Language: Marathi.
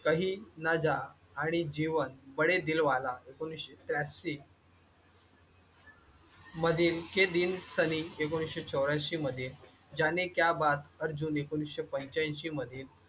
कही न जा आणि जीवन बडे दिल वाला एकोणीसशे त्र्यांशी मधील के दिन एकोणीसशे चौर्यांशी मध्ये जाणे क्या बात अर्जुन एकोणीसशे पंचाऐंशी मध्ये